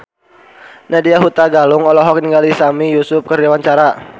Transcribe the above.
Nadya Hutagalung olohok ningali Sami Yusuf keur diwawancara